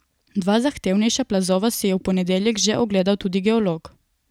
Dva zahtevnejša plazova si je v ponedeljek že ogledal tudi geolog.